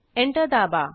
enter दाबा